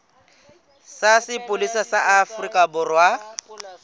sa sepolesa sa afrika borwa